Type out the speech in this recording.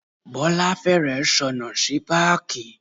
Bọ́lá fẹ́rẹ̀ẹ́ sọnù sí páàkì.